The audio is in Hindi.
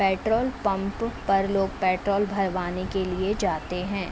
पेट्र्रोल पंप पर लोग पेट्रोल भरवाने के लिये जाते हैं।